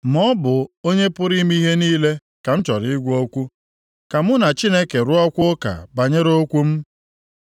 Ma ọ bụ Onye pụrụ ime ihe niile ka m chọrọ ịgwa okwu, ka mụ na Chineke rụọkwa ụka banyere okwu m.